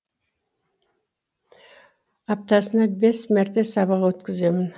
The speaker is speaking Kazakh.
аптасына бес мәрте сабақ өткіземін